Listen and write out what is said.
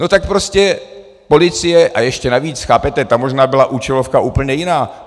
No tak prostě policie - a ještě navíc, chápete?, tam možná byla účelovka úplně jiná.